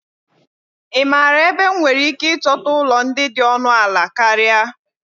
Ị maara ebe m nwere ike ịchọta ụlọ ndị dị ọnụ ala karịa?